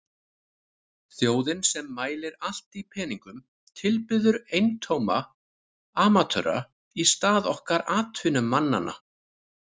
Þjóðin sem mælir allt í peningum tilbiður eintóma amatöra í stað okkar atvinnumannanna.